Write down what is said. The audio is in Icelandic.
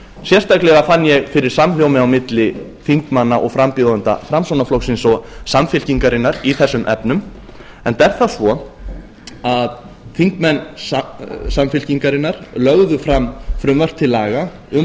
sérstaklega fann ég fyrirsamhljómi á milli þingmanna og frambjóðenda framsóknarflokksins og samfylkingarinnar í þessum efnum enda er það svo að þingmenn samfylkingarinnar lögðu fram frumvarp til laga um